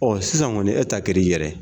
sisan kɔni e ta kɛr'i yɛrɛ ye.